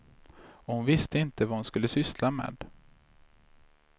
Och hon visste inte vad hon skulle syssla med.